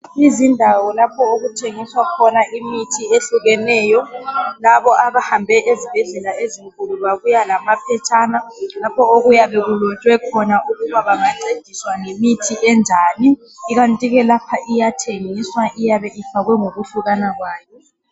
izindawo lapho okuthengiswa khona imithi ehlukekeyo labo abahambe ezibhedlela ezinkulu babuya lamaphetshana lapho okuyabe kulotshwe khona ukuba bangancediswa ngemithi enjani ikanti ke lapha iyathengiswa iyabe ifakwe ngokuhlukana kwayo